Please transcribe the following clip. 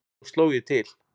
Svo sló ég til.